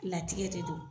Latigɛ de don